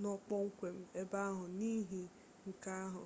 nọ kpọmkwem ebe ahụ n'ihi nke ahụ